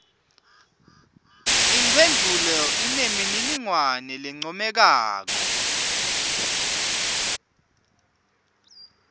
imphendvulo inemininingwane lencomekako